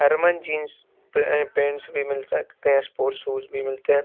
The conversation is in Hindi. हरमन जींस पे पेंटस भी मिल सकते हैं स्पोर्ट्स शूज भी मिलते हैं।